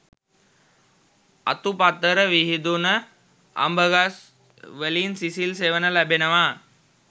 අතුපතර විහිදුන අඹ ගස් වලින් සිසිල් සෙවන ලැබෙනවා